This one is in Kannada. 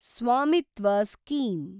ಸ್ವಾಮಿತ್ವ ಸ್ಕೀಮ್